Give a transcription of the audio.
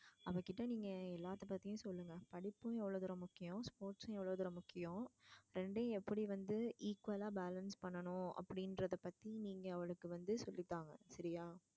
அவகிட்ட நீங்க எல்லாத்த பத்தியும் சொல்லுங்க படிப்பும் எவ்வளோ தூரம் முக்கியம் sports சும் எவ்வளோ தூரம் முக்கியம் ரெண்டையும் எப்டி வந்து equal லா balance பண்ணனும் அப்டிங்கிறத பத்தி நீங்க அவளுக்கு வந்து சொல்லிதாங்க சரியா?